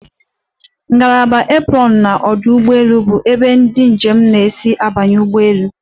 Ngalaba aprọnụ n'ọdụ ụgbọelu bụ ebe ndị njem na-esi abanye n'ụgbọelu.